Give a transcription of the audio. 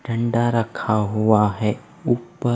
ठंढ़ा रक्खा हुआ है उप्पर।